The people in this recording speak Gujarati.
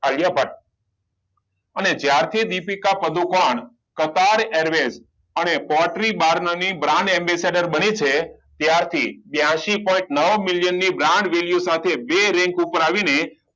આલિયા ભટ્ટ અને જ્યારે થી દીપિકા પદુકોણ અને brand ambesetor બની છે ત્યારથી બ્યાસી પોઇન્ટ નવ million brand value સાથે બે rank ઉપર આવીને